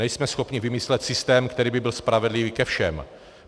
Nejsme schopni vymyslet systém, který by byl spravedlivý ke všem.